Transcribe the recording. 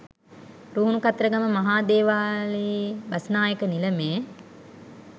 රුහුණු කතරගම මහාදේවාලයේ බස්නායක නිලමේ